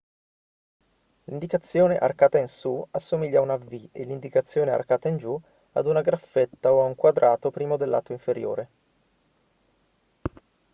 l'indicazione arcata in su assomiglia a una v e l'indicazione arcata in giù ad una graffetta o a un quadrato privo del lato inferiore